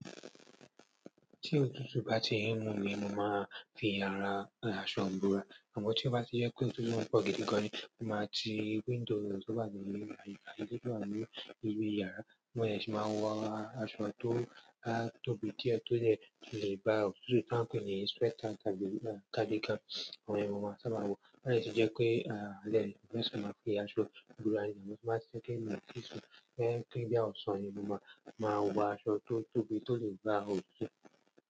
Tí òtútù bá ti ń mú mi, mo máa fi yàrá aṣọ ìborá, àmọ́ tí ó bá ti jẹ́ pé òtútù máa pọ̀ gidi gan ni, mo máa ti window tó wà ní àyíká, àti èyí tó ní ibi yàrá, mo dè sì máa wọ aṣọ tó tóbi díẹ̀ tó lè ba òtútù, tá ń pè ní sweater tàbí cardigan, àwọn ìyẹn mo máa sábà wọ, tó bá dè tí jẹ́ pé alẹ́ ni sì máa fi aṣọ búrá yẹn, mo sì máa ṣe kí ó tó sùn, tó bá yẹ pé bóyá ọ̀sán mo máa wọ aṣọ tó tóbi tó lè gbá òtútù.